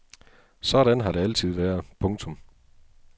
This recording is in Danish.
Sådan har det altid været. punktum